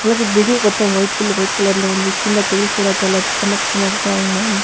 అలాగే బిల్లింగ్ మొత్తం white full white కలర్లో ఉంది కింద టైల్స్ కూడా చాలా చమ్మక్ చమక్ గా ఉన్నాయి.